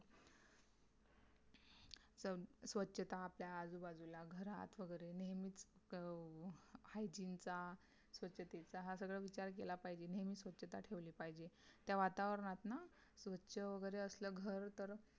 स्वछता आपल्या आजूबाजूला, घरात वगैरे नेहमीच अं Hygiene चा, स्वच्छतेचा हा सगळा विचार केला पाहिजे नेहमी स्वच्छता ठेवली पाहिजे. त्या वातावरणात ना स्वच्छ वगैरे असल तर घर